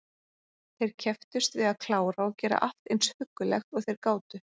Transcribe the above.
Þeir kepptust við að klára og gera allt eins huggulegt og þeir gátu.